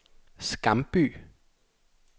Skamby